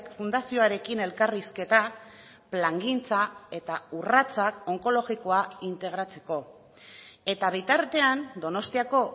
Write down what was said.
fundazioarekin elkarrizketa plangintza eta urratsak onkologikoa integratzeko eta bitartean donostiako